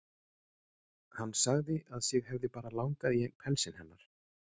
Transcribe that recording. Hann sagði að sig hefði bara langað í einn pelsinn hennar.